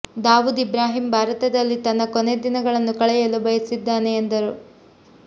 ದಾವೂದ್ ಇಬ್ರಾಹಿಂ ಭಾರತದಲ್ಲಿ ತನ್ನ ಕೊನೆ ದಿನಗಳನ್ನು ಕಳೆಯಲು ಬಯಸಿದ್ದಾನೆ ಎಂದಿದ್ದರು